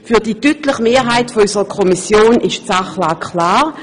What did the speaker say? Für die deutliche Mehrheit unserer Kommission ist die Sachlage klar: